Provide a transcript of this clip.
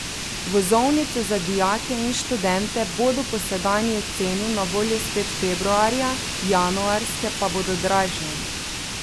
Vozovnice za dijake in študente bodo po sedanji ceni na voljo spet februarja, januarske pa bodo dražje.